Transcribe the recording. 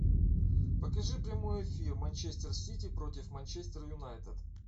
покажи прямой эфир манчестер сити против манчестер юнайтед